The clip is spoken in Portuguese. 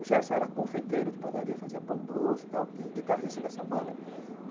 O Gerson era confeiteiro de padaria, fazia pão doce e tal, e guitarrista dessa banda.